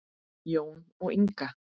Jón og Inga.